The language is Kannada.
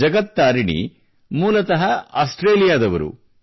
ಜಗತ್ ತಾರಿಣಿ ಅವರು ಮೂಲತಃ ಆಸ್ಟ್ರೇಲಿಯಾದವರು